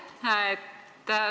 Aitäh!